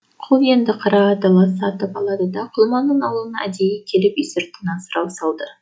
құл енді қара ала ат сатып алады да құлманның аулына әдейі келіп үй сыртынан сұрау салды